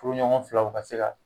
Furuɲɔgɔn filaw ka se ka